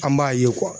An b'a ye